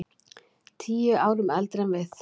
Tíu árum eldri en við.